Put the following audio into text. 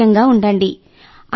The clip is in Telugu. ఆరోగ్యంగా ఉండండి